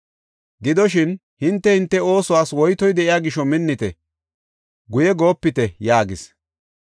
Gidoshin, hinte, hinte oosuwas woytoy de7iya gisho minnite; guye goopite!” yaagis.